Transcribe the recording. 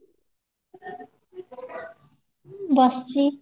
ବସିଚି